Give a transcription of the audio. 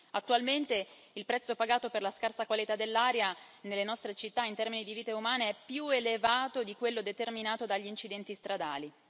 Attualmente, il prezzo pagato per la scarsa qualità dell'aria nelle nostre città in termini di vite umane è più elevato di quello determinato dagli incidenti stradali.